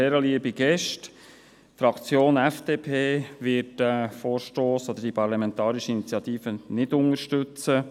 Die Fraktion FDP wird diesen Vorstoss oder diese Parlamentarische Initiative nicht unterstützen.